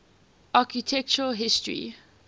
architectural history